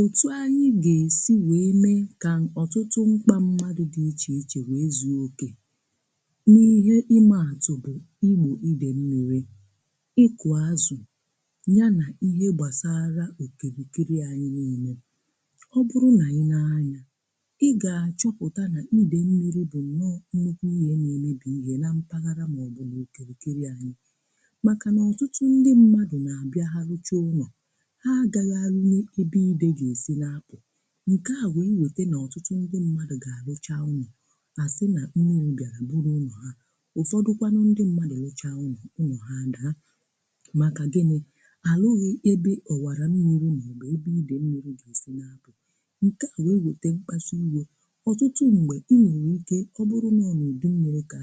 otu anyị̀ ga-esì wee mee ka n’ọtụtụ ṁkpà mmadụ̀ dị iche iche wee zùokè n’ihe ime atụ̀ bụ̀ igbò idè mmi̇ri̇ ịkụ̀ azụ̀ ya nà ihe gbasarà ekirikirì anyị̀ na-enè ọ bụrụ̀ n’anyị̀ na-anyà ị ga-achọpụta nà idè mmi̇ri̇ bụ̀ nnọọ̀ nmgbe ihe na-emebì ihe na mpaghara màọbụ̀ na-ekirikirì anyị̀ makà nà ọtụtụ ndị mmadụ̀ na-abịa ha rụchàụlọ̀ ǹke à wụ̀ iwète n’ọtụtụ ndị mmadụ̀ gà-àlịchà nni gà-àsị nà imeru̇ bịàrà buru ha um ụfọdụkwanụ ndị mmadụ̀ lịchà nni unò ha dì ha màkà gịnị̇ àlụghị̇ ebe ọ̀wàrà n’imeru nà ebe idè mmi̇ri̇ gà-èsi nà apụ̀ ǹke à wụ̀ iwete mkpàsị igwė ọ̀tụtụ m̀gbè i nwèrè ike ọ bụrụ n’ọnụ dị mmi̇ri̇ kà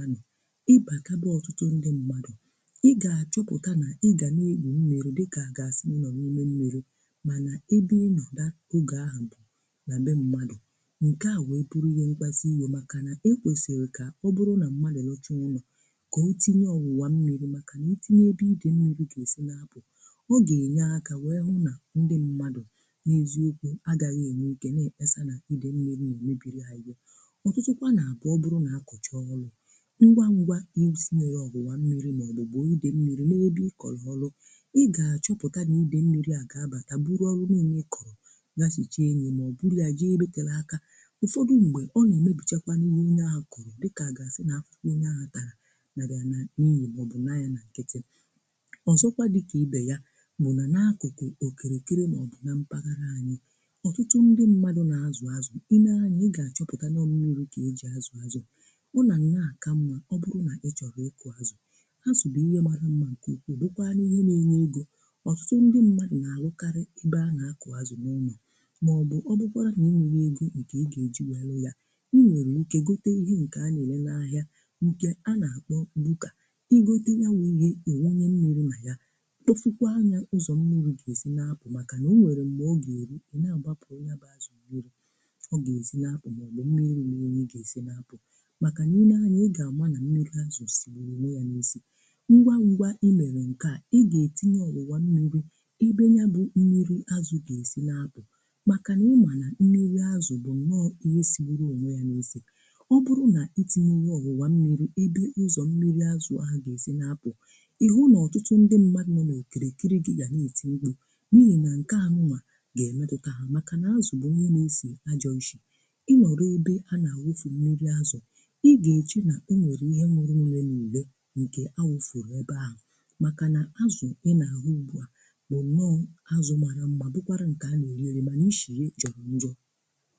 anà na mbụ̀ mmadụ̀ nke à wee buru ihe mkpazì iyo makà na e kwesiri ka ọ bụrụ̀ nà mmalì na ocha nnụ̀ kà o tinye ọwụwà mmi̇ri̇ makà na itinye bụ̀ idè nriri ga-esi na-abụ̀ ọ ga-enye akà wee hụ nà ndị mmadụ̀ n’ezi ekwè agaghị̀ enye ike na-ekpesà n’idè nmiri na mebiri anyị̀ ọtụtụkwà naabụ̀ ọ bụrụ̀ na-akọchọ̀ ọlụ̀ ngwa ngwà e ezi nwere ọbụwà mmi̇ri̇ maọ̀bụ̀ bụ̀ o idè nmiri na-ebi ị kọlọ̀ ọlụ̀ ị ga-achọpụta n’idè nmiri agà abatà gasìcha enye mà ọ bụrụ ya ji ibe kala aka ụfọdụ ṁgbe ọ na-emebuchekwa n’ime ihe akụrụ dịka gasì n’afọ n’enye atara na bịa na n’ihi ma ọ bụ nà ya na nkịtị ọzọkwa dịkà ibe ya bụ nà n’akụkụ okirikiri mà ọ bụ na mpaghara anyị̀ ọtụtụ ndị mmadụ̇ na-azụ̀ azụ̀ i nee anya ị ga-achọpụta na ọ mmiuru ka eji azụ̀ azụ̀ ọ na ni na-aka mma ọ bụrụ na ịchọrọ ịkụ̇ azụ̀ ha sobù ihe mara mma nke okwukwa n’ihe na-enye ego ọtụtụ ndị mmadụ̀ na-arụkarị maọ̀bụ̀ ọ bụkwa n’irì nwere egȯ ike ị ga-eji nwere ya ị nwere ike gote ihe nke a na-elela ahịa ǹkè a na-akpọ bụkà ị gote ya wụ̀ ihe ịwanye nwere ma ya bụfụkwa anyȧ ụzọ̀ mmi̇ri̇ ga-esì na-apụ̀ makà na o nwere m̀gbè ọ ga-erù o nà-agbàpụ̀ onye abụ̀ azụ̀ were ọ ga-ezì na-apụ̀ mọ̀bụ̀ mmi̇ri̇ nwere na-ị ga-esì na-apụ̀ makà niine anyà ị ga-amà nà mmi̇ri̇ azụ̀ sì wère ya n’isi ngwa ụgwọ i mere nke à ị ga-etinye ọlụwà mmi̇ri̇ makà na ụmụ na mmi̇ri̇ azụ̀ bụ̀ nọọ̀ ihe si nwere onwe ya n’isi ọ bụrụ̀ na itinye ọhụwà mmi̇ri̇ ebe ụzọ̀ mmi̇ri̇ azụ̀ ahụ ga-esi n’apụ̀ ihe ụnọ̀ ọtụtụ ndị mmadụ̀ nọ na-ekere ekiri gị ga na-eti ụgwụ̀ n’ihi na nke ahụnwà ga-emedụkaha makà na azụ̀ bụ nke na-esi ajọ̀nshi ịnọ̀rọ̀ ebe a na-awụfù mmi̇ri̇ azụ̀ ịnọ̀rọ̀ ebe a na-awụfù mmi̇ri̇ azụ̀ ịgà-eche na o nwèrè ihe mụrụ nrì nrì nrì nkè awụfù ebe ahụ̀ makà nà azụ̀ ịnọ̀ ahụ́ ugbu à bụ̀ nọọ̀ azụ̀ màna mèrè mà n'ị shìrì zọrọ njo